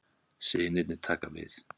Synirnir taka við